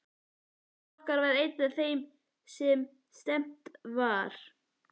Faðir okkar var einn af þeim sem stefnt var.